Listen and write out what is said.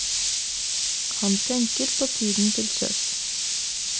Han tenker på tiden til sjøs.